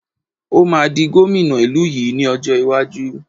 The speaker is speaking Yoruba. Ó máa di gómìnà ìlú yìí ni ọjọ́ iwájú